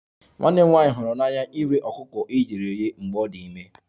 Nwanne m nwanyị hụrụ n'anya iri ọkụkọ e ghere eghe mgbe ọ dị ime